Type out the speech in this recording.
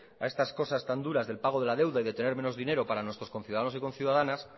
a estas cosas tan duras del pago de la deuda y de tener menos dinero para nuestros conciudadanos y conciudadanas